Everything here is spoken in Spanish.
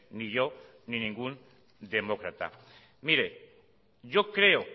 ni yo ni ningún demócrata mire yo creo